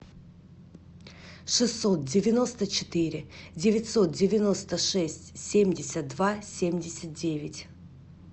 шестьсот девяносто четыре девятьсот девяносто шесть семьдесят два семьдесят девять